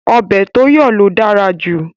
Ọbẹ̀ tó yọ̀ ló dára jù